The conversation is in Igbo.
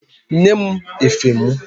Nye m efe mụ!